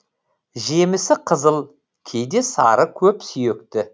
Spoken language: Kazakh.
жемісі қызыл кейде сары көпсүйекті